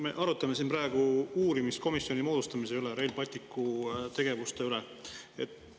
Me arutame siin praegu uurimiskomisjoni moodustamise üle, Rail Balticu üle.